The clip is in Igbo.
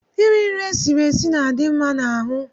Eating cooked food is healthy.